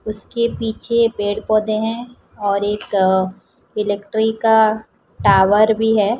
उसके पीछे पेड़ पौधे हैं और एक इलेक्ट्रिक का टावर भी है।